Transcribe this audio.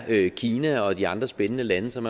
det er kina og de andre spændende lande som